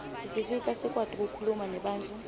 tisisita sikwati kukhuluma nebantfu